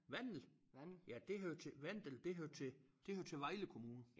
Vandel ja det hører til Vandel det hører til det hører til Vejle Kommune